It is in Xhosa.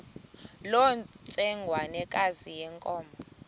loo ntsengwanekazi yenkomo